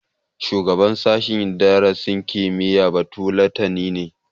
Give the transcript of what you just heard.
Shugaban sashen darasin kimiyya batulatani ne